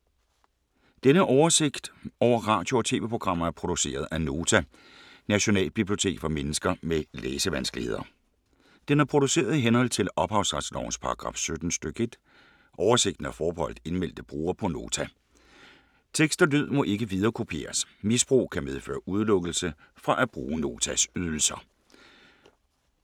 Denne oversigt over radio og TV-programmer er produceret af Nota, Nationalbibliotek for mennesker med læsevanskeligheder. Den er produceret i henhold til ophavsretslovens paragraf 17 stk. 1. Oversigten er forbeholdt indmeldte brugere på Nota. Tekst og lyd må ikke viderekopieres. Misbrug kan medføre udelukkelse fra at bruge Notas ydelser.